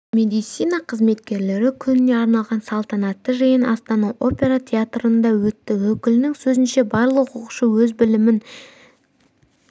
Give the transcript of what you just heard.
медицина қызметкерлері күніне арналған салтанатты жиын астана опера театрында өтті өкілінің сөзінше барлық оқушы өз білімін